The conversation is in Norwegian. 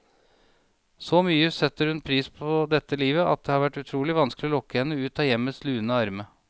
Så mye setter hun pris på dette livet, at det har vært utrolig vanskelig å lokke henne ut av hjemmets lune arne.